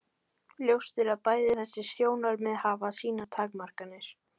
Ljóst er að bæði þessi sjónarmið hafa sínar takmarkanir.